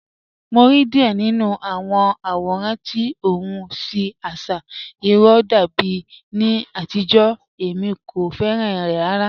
Mo rí díẹ̀ nínu àwọn àwòràn tí ọ̀hun tí àṣà irò dàbí ní àtìjó, èmi kò fẹ́ràn rẹ̀ ràrà